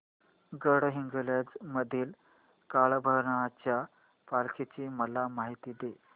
गडहिंग्लज मधील काळभैरवाच्या पालखीची मला माहिती दे